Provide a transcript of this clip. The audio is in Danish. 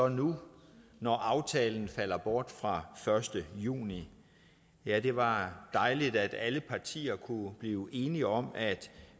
nu når aftalen falder bort fra første juni ja det var dejligt at alle partier kunne blive enige om at